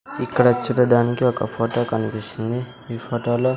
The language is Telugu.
ఇక్కడ చూడడానికి ఒక ఫోటో కనిపిస్తుంది ఈ ఫోటో లో.